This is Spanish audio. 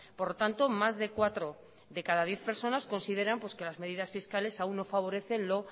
por lo tanto más de cuatro de cada diez personas consideran pues que las medidas fiscales aún no favorecen lo